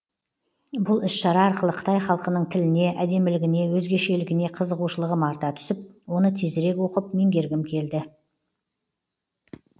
бұл іс шара арқылы қытай халқының тіліне әдемілігіне өзгешілігіне қызығушылығым арта түсіп оны тезірек оқып меңгергім келді